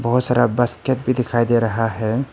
बहुत सारा बास्केट भी दिखाई दे रहा है।